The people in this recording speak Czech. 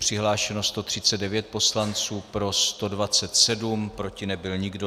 Přihlášeno 139 poslanců, pro 127, proti nebyl nikdo.